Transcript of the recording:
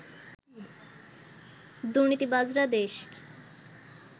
দুর্নীতিবাজরা দেশ